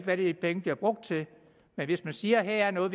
hvad de penge bliver brugt til men hvis man siger at her er noget